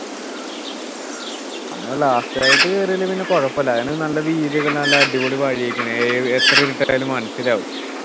നമ്മള് last ആയിട്ട് കേറിയാല് പിന്നെ കുഴപ്പമില്ല അതിനു നല്ല വീതിയൊക്കെ ഉണ്ട് നല്ല അടിപൊളി വഴിയൊക്കെയാണ് ഏർ എത്ര ഇരുട്ടായാലും മനസിലാവും